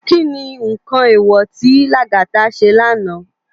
Ki ni nkán éwò ti Lagata sé lànå?